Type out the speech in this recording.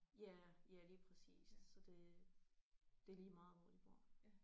Ja ja lige præcist så det det er lige meget hvor de bor